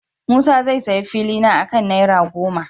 Musa zai sayi filina akan naira goma.